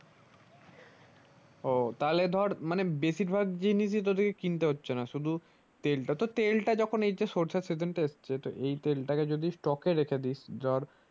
ও তাহলে ধরে মানে বেশির ভাগ জিনিসিই তো তোদের কে কিনতে হচ্ছে না শুধু তেলটা তো তেলটা যখন এই যে সরষের season তা এসছে তো এই তেল তা কে যদি stock এ রেখে দিস ধর।